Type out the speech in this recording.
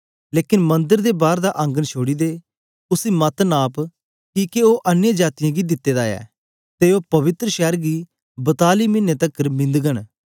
लेकन मंदर दे बार दा आंगन छोड़ी दे उसी मत नप किके ओ अन्य जातीयें गी दित्ते दा ऐ ते ओ पवित्र शैर गी बताली मिने तकर मिंधघन